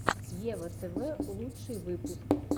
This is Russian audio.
ева тв лучший выпуск